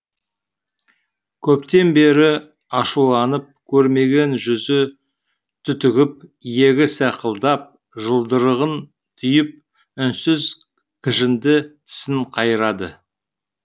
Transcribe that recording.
көптен бері ашуланып көрмеген жүзі түтігіп иегі сақылдап жұдырығын түйіп үнсіз кіжінді тісін қайрады